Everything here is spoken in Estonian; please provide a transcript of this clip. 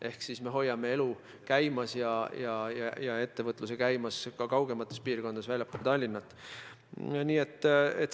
Ehk siis me hoiame elu ja ettevõtluse käimas ka kaugemates piirkondades, väljaspool Tallinna.